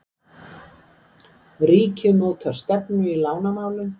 Ríkið mótar stefnu í lánamálum